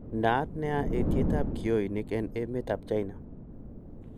naat nea etietap kionig en emeet ap China